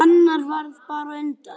Annar varð bara á undan.